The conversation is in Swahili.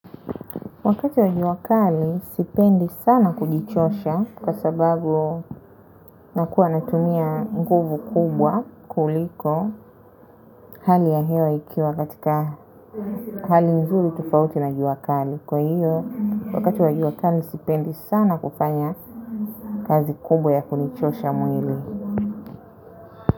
Wakati wa jua kali sipendi sana kujichosha kwa sababu nakuwa natumia nguvu kubwa kuliko hali ya hewa ikiwa katika hali nzuri, tofauti na jua kali. Kwa hivyo wakati wa jua kali sipendi sana kufanya kazi kubwa ya kunichosha mwili.